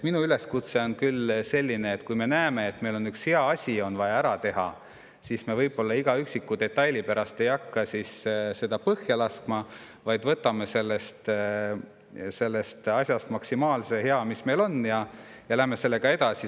Minu üleskutse on küll selline, et kui me näeme, et meil on üks hea asi vaja ära teha, siis me võib-olla mõne üksiku detaili pärast ei hakka seda põhja laskma, vaid võtame sellest asjast maksimaalse hea, mis meil on, ja läheme sellega edasi.